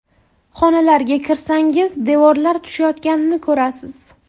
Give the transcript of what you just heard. Xonalarga kirsangiz, devorlar tushayotganini ko‘rasiz.